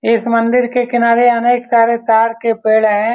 इस मंदिर के किनारे अनेक सारे तार के पेड़ हैं।